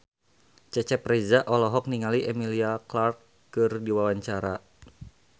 Cecep Reza olohok ningali Emilia Clarke keur diwawancara